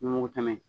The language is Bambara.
N mugu tɛmɛ